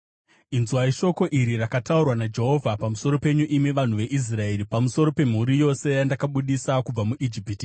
Inzwai shoko iri rakataurwa naJehovha pamusoro penyu, imi vanhu veIsraeri, pamusoro pemhuri yose yandakabudisa kubva muIjipiti: